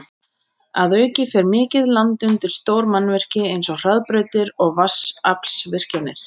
Að auki fer mikið land undir stór mannvirki eins og hraðbrautir og vatnsaflsvirkjanir.